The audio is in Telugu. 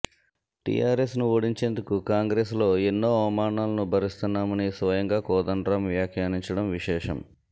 టీఆర్ఎస్ను ఓడించేందుకు కాంగ్రెస్లో ఎన్నో అవమానాలను భరిస్తున్నామని స్వయంగా కోదండరాం వ్యాఖ్యానించడం విశేషం